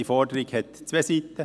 Diese Forderung hat zwei Seiten.